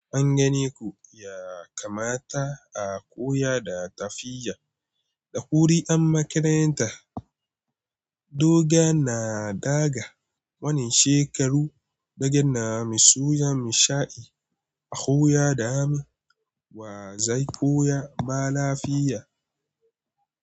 An gane ko ya kamata a koya da tafiya da kuri'ar makaranta. Doga na daga wani shekaru daga nan, misuya mashai a koya da hannu wa zai koya ma lafiya.